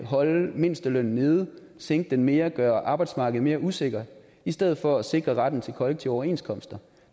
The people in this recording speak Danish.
holde mindstelønnen nede sænke den mere gøre arbejdsmarkedet mere usikkert i stedet for at sikre retten til kollektive overenskomster